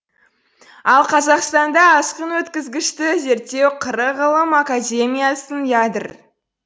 ал қазақстанда асқын өткізгіштікті зерттеу қр ғылым академиясының ядр